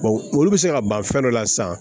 olu bɛ se ka ban fɛn dɔ la san